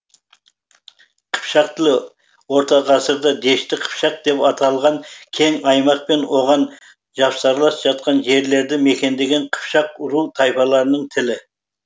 қыпшақ тілі орта ғасырда дешті қыпшақ деп аталған кең аймақ пен оған жапсарлас жатқан жерлерді мекендеген қыпшақ ру тайпаларының тілі